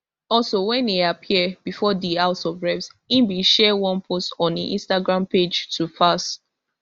also wen e appear before di house of reps e bin share one post on im instagram page to falz